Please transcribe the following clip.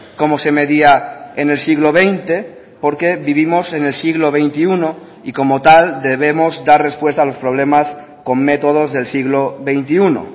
como se medía en el siglo veinte porque vivimos en el siglo veintiuno y como tal debemos dar respuesta a los problemas con métodos del siglo veintiuno